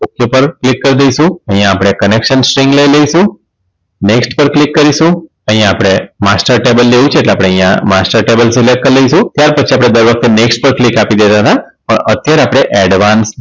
પર Click કરી દઈશું અહીંયા આપણે Connection Sting લઇ લેશું next પર Click કરીશું અહીંયા આપણે master table લેવું છે એટલે આપણે અહીંયા master table Select કરી લઈશું ત્યાર પછી આપણે દર વખતે next પર Click આપી દેતા તા અત્યારે આપણે advance